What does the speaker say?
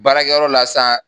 Baarakɛyɔrɔ la sa